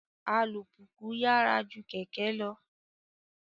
Alupupu yyara ju kẹkẹ lọ